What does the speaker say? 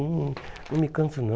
Não não me canso, não.